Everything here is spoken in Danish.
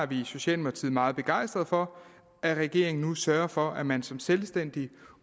vi i socialdemokratiet meget begejstret for at regeringen nu sørger for at man som selvstændig